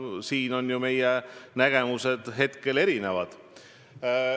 Selles osas on meie nägemused hetkel erinevad.